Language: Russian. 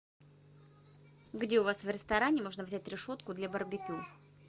где у вас в ресторане можно взять решетку для барбекю